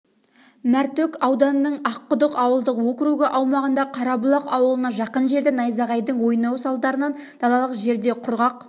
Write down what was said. мәртөк ауданының аққұдық ауылдық округі аумағындағы қарабұлақ ауылына жақын жерде найзағайдың ойнауы салдарынан далалық жерде құрғақ